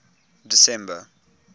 december